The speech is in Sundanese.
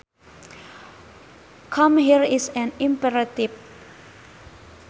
Come here is an imperative